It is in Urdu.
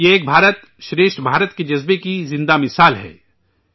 یہ 'ایک بھارت ، شریٹھ بھارت' کے جذبے کی جیتی جاگتی مثال ہے